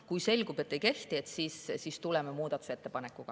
Kui selgub, et ei kehti, siis tuleme muudatusettepanekuga.